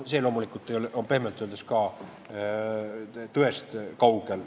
See on pehmelt öeldes ka tõest kaugel.